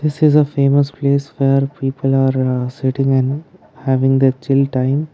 this is the famous place where people are sitting and having the chill time.